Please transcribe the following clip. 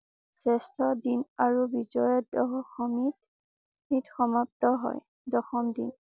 শ্ৰেষ্ঠ দিন আৰু বিজয়া দশমীত ই সমাপ্ত হয়। দশম দিন